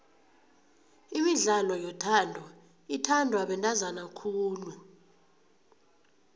imidlalo yothando ithandwa bantazana khulu